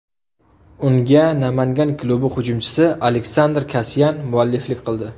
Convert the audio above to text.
Unga Namangan klubi hujumchisi Aleksandr Kasyan mualliflik qildi.